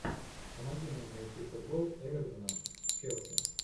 помоги нам найти футбол эвертона с челси